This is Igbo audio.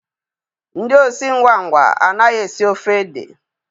Ndị osi ngwa ngwa anaghị esi ofe ede